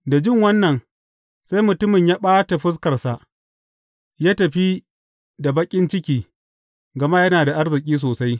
Da jin wannan, sai mutumin ya ɓata fuskarsa, ya tafi da baƙin ciki, gama yana da arziki sosai.